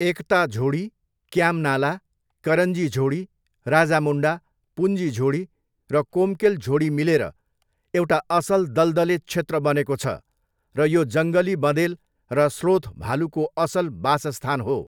एकता झोडी, क्याम नाला, करन्जी झोडी, राजामुण्डा, पुन्जी झोडी र कोम्केल झोडी मिलेर एउटा असल दलदले क्षेत्र बनेको छ र यो जङ्गली बँदेल र स्लोथ भालुको असल बासस्थान हो।